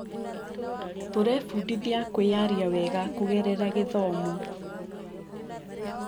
Tũrebundithia kwĩyaria wega kũgerera gĩthomo.